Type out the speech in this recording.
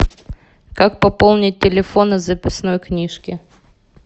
как пополнить телефон из записной книжки